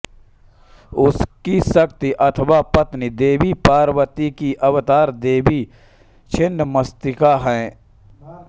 इनकी शक्ति अथवा पत्नी देवी पार्वती की अवतार देवी छिन्नमस्तिका हैं